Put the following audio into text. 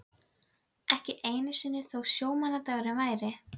Ekki einu sinni þó sjómannadagur væri.